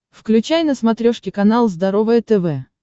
включай на смотрешке канал здоровое тв